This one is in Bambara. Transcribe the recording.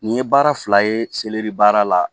Nin ye baara fila ye seleri baara la